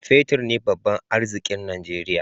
Fetir ne babban arzikin Najeriya.